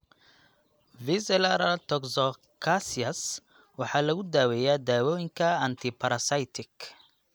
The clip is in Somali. Visceral toxocariasis waxaa lagu daaweeyaa dawooyinka antiparasitic.